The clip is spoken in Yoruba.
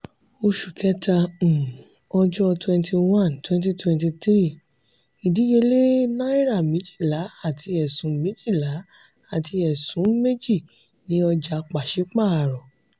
oṣù kẹta um ọjọ́ twenty one twenty twenty three: ìdíyelé naira méjìlá àti ẹ̀sún méjìlá àti ẹ̀sún méjì ni oja pasipaaro.